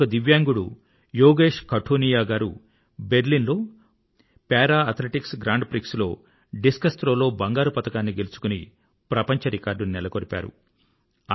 మరొక దివ్యాంగుడు యోగేష్ కఠునియా గారు బెర్లిన్ లో పారా ఎథ్లెటిక్స్ గ్రాండ్ ప్రిక్స్ లో డిస్క్ థ్రో లో బంగారు పతకాన్ని గెలుచుకుని ప్రపంచ రికార్డుని నెలకొల్పారు